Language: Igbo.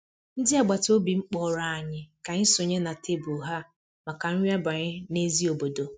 ndị agbata obi m kpọrọ anyị ka anyị sonye na tebụl ha maka nri abalị n'èzí obodo